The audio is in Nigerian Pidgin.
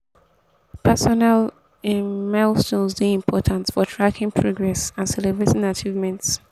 personal um milestones dey important for tracking progress and celebrating achievements.